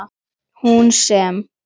Hún sem.